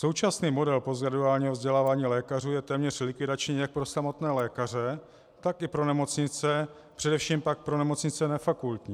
Současný model postgraduálního vzdělávání lékařů je téměř likvidační jak pro samotné lékaře, tak i pro nemocnice, především pak pro nemocnice nefakultní.